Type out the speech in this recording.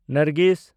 Nargis